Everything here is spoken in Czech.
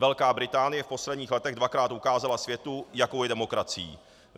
Velká Británie v posledních letech dvakrát ukázala světu, jakou je demokracií.